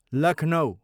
Lucknow